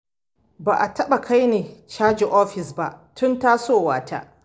Ba a taɓa kaini caji ofis ba tun tasowa ta.